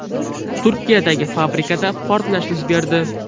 Turkiyadagi fabrikada portlash yuz berdi.